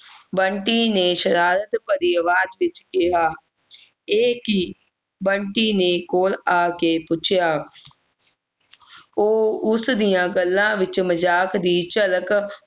ਬੰਟੀ ਨੇ ਸ਼ਰਾਰਤ ਭਰੀ ਆਵਾਜ਼ ਵਿੱਚ ਕਿਹਾ ਇਹ ਕਿ ਬੰਟੀ ਨੇ ਕੋਲ ਆ ਕੇ ਪੁੱਛਿਆ ਉਹ ਉਸ ਦੀਆਂ ਗੱਲਾਂ ਵਿੱਚ ਮਜਾਕ ਦੀ ਝਲਕ